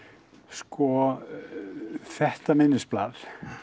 sko þetta minnisblað